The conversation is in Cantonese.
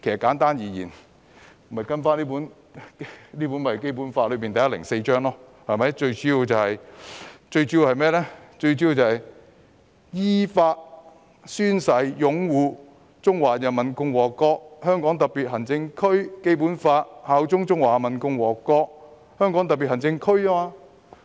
簡單而言，便是跟隨《基本法》第一百零四條的規定，最主要是"依法宣誓擁護中華人民共和國香港特別行政區基本法，效忠中華人民共和國香港特別行政區"。